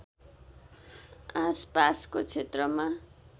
आसपासको क्षेत्रमा